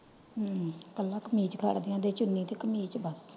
ਹਮ ਕੱਲਾ ਕਮੀਜ ਫੜਦਿਆਂ ਕੱਲੀ ਚੁਣੀ ਤੇ ਕਮੀਜ ਬੱਸ।